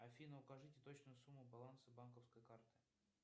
афина укажите точную сумму баланса банковской карты